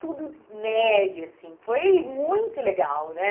tudo neve, assim, foi muito legal, né?